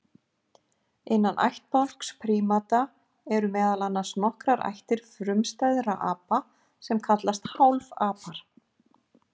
Innan ættbálks prímata eru meðal annars nokkrar ættir frumstæðra apa sem kallast hálfapar.